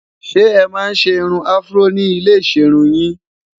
ṣé é man ṣé irún afro ní ilẹ iserun yìn?